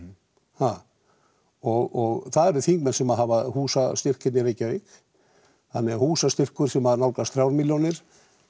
ha og það eru þingmenn sem hafa húsastyrk hérna í Reykjavík þannig að húsastyrkur sem nálgast þrjár milljónir